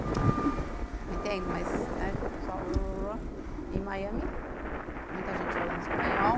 Não entendo, né, mas pessoal... Em Miami, muita gente falando espanhol.